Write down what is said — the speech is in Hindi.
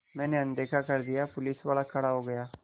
मैंने अनदेखा कर दिया पुलिसवाला खड़ा हो गया